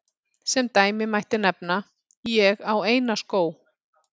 Sem dæmi mætti nefna: Ég á eina skó.